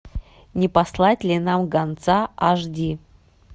не послать ли нам гонца аш ди